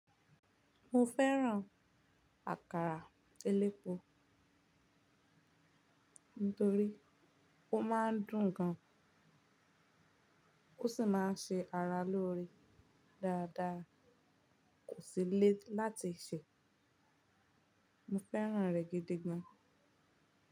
Mo fẹ́ràn àkàrà elépo torí ó máa ń dùn gan, ó sì máa ń ṣe ara lóore dáadáa, kò sì le láti sè. Mo fẹ́ràn rẹ̀ gidi gan.